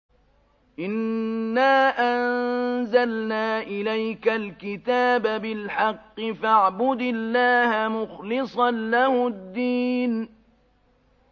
إِنَّا أَنزَلْنَا إِلَيْكَ الْكِتَابَ بِالْحَقِّ فَاعْبُدِ اللَّهَ مُخْلِصًا لَّهُ الدِّينَ